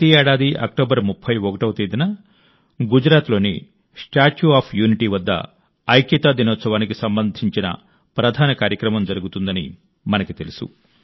ప్రతి ఏడాది అక్టోబర్ 31వ తేదీన గుజరాత్లోని స్టాచ్యూ ఆఫ్ యూనిటీ వద్ద ఐక్యతా దినోత్సవానికి సంబంధించిన ప్రధాన కార్యక్రమం జరుగుతుందని మనకు తెలుసు